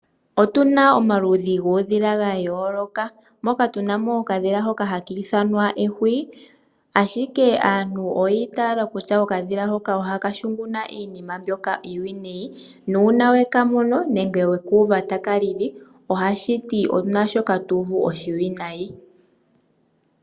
Moshilongo shetu otuna mo uudhila owundji moka tunamo okadhila hoka haka ithwanwa ehuwi , ashike aantu oyi itala kutya okadhila hoka oha kashunguna iinima mbyoka iiwinayi nuuna weka mono nenge weku uva taka lili , owuna shoka tu uvu oshiwinayi .